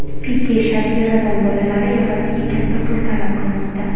Pike Shakiradan bolalari evaziga katta pul talab qilmoqda.